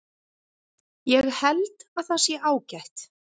Ég held að það sé ágætt.